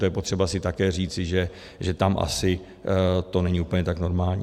To je potřeba si také říci, že tam asi to není tak úplně normální.